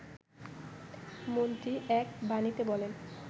মন্ত্রী এক বাণীতে বলেন